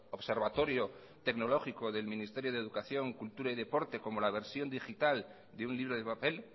observatorio tecnológico del ministerio de educación cultura y deporte como la versión digital de un libro de papel